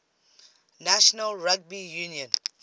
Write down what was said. national rugby union